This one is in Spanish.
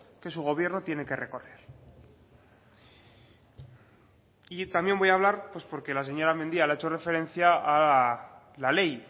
que su gobierno tiene que recorrer y también voy a hablar pues porque la señora mendia le ha hecho referencia a la ley